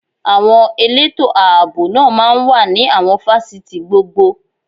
Àwọn elétò ààbò náà máa ń wà ní àwọn fásitì gbogbo